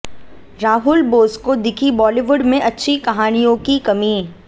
राहुल बोस को दिखी बॉलीवुड में अच्छी कहानियों की कमी